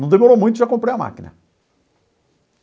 Não demorou muito, já comprei a máquina.